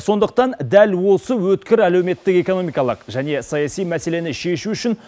сондықтан дәл осы өткір әлеуметтік экономикалық және саяси мәселені шешу үшін